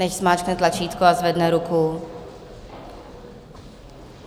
Nechť zmáčkne tlačítko a zvedne ruku.